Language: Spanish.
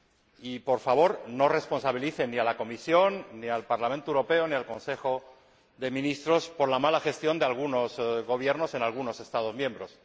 Y, por favor, no responsabilicen ni a la Comisión ni al Parlamento Europeo ni al Consejo de Ministros por la mala gestión de algunos gobiernos en algunos Estados miembros.